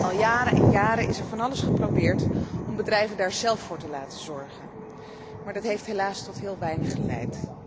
Al jaren en jaren is er van alles geprobeerd om bedrijven daar zelf voor te laten zorgen, maar dat heeft helaas tot heel weinig geleid.